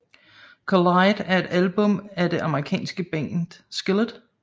Collide er et album af det amerikanske band Skillet